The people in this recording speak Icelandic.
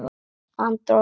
Andra og Birtu.